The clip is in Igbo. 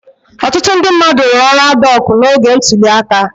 Ọtụtụ ndị mmadụ rụrụ ọrụ adhọọkụ́ n'oge ntuli aka.